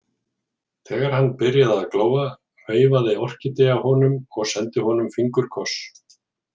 Þegar hann byrjaði að glóa veifaði Orkídea honum og sendi honum fingurkoss.